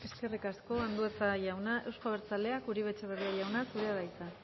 eskerrik asko andueza jauna euzko abertzaleak uribe etxebarria jauna zurea da hitza